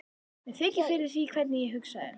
Mér þykir fyrir því hvernig ég hugsaði.